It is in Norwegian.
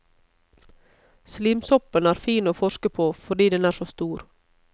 Slimsoppen er fin å forske på fordi den er så stor.